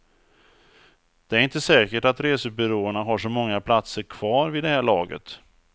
Det är inte säkert att resebyråerna har så många platser kvar vid det här laget.